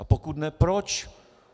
A pokud ne, proč?